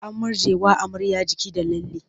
An murjjewa amarya jiki da lalle.